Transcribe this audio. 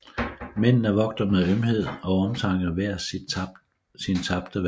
Mændene vogter med ømhed og omtanke hver sin tabte verden